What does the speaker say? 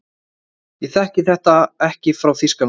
Ég þekki þetta ekki frá Þýskalandi.